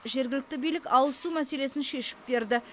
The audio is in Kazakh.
жергілікті билік ауызсу мәселесін шешіп берді